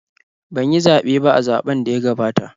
Ban yi zaɓe ba a zaɓn da ya gabata